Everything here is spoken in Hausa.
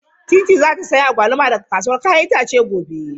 Teetea za ta sayi agwaluma daga kasuwar 'ya'yan itace gobe.